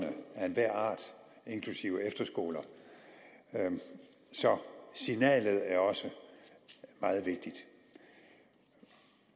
af enhver art inklusive efterskoler så signalet er også meget vigtigt